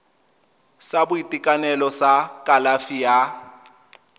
sa boitekanelo sa kalafi ya